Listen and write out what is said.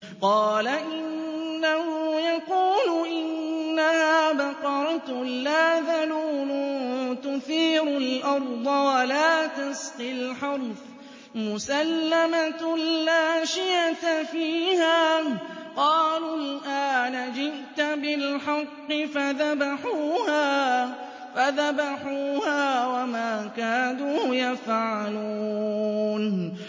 قَالَ إِنَّهُ يَقُولُ إِنَّهَا بَقَرَةٌ لَّا ذَلُولٌ تُثِيرُ الْأَرْضَ وَلَا تَسْقِي الْحَرْثَ مُسَلَّمَةٌ لَّا شِيَةَ فِيهَا ۚ قَالُوا الْآنَ جِئْتَ بِالْحَقِّ ۚ فَذَبَحُوهَا وَمَا كَادُوا يَفْعَلُونَ